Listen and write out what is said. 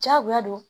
Diyagoya don